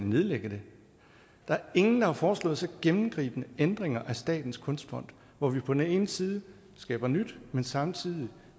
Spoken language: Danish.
nedlægge det ingen har foreslået så gennemgribende ændringer af statens kunstfond hvor vi på den ene side skaber nyt men samtidig